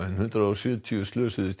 hundrað og sjötíu slösuðust